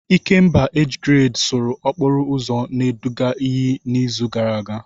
Ikemba age grade sụrụ okporo ụzọ na-eduga iyi n'izu gara aga.